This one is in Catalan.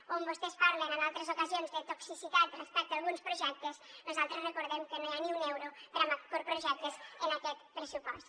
on vostès parlen en altres ocasions de toxicitat respecte a alguns projectes nosaltres recordem que no hi ha ni un euro per a macroprojectes en aquest pressupost